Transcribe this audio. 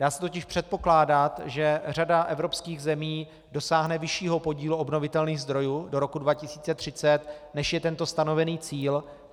Dá se totiž předpokládat, že řada evropských zemí dosáhne vyššího podílu obnovitelných zdrojů do roku 2030, než je tento stanovený cíl.